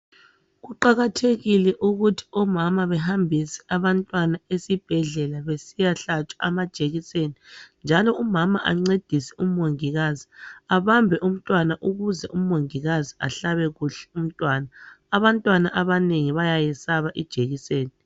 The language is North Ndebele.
Kuqakathekile ukuthi omama behambise abantwana esibhedlela besiyahlatshwa amajekiseni njalo umama ancedise u mongikazi abambe umntwana ukuze umongikazi ahlabe kuhle umntwana abantwana abanengi bayayesaba ijekiseni